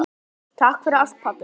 Takk fyrir allt, pabbi minn.